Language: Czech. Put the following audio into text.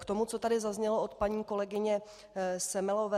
K tomu, co tady zaznělo od paní kolegyně Semelové.